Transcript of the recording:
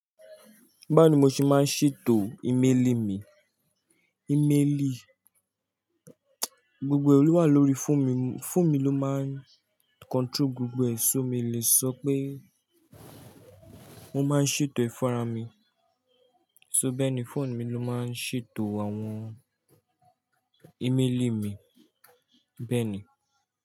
Báwo ni mo ṣe máa ń ṣètò ímélì mi? Ìméèlì, gbogbo ẹ lo wà lórí fóònù mi, fóònù mi ló máa ń control gbogbo ẹ̀, so mi o lè sọ pé mo máa ń ṣètò ẹ funra'ra mi, so bẹ́ẹ̀ ni fóònù mi ló máa ń ṣètò àwọn ímélì mi, bẹ́ẹ̀ ni.